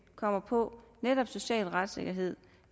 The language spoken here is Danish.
kommer på netop social retssikkerhed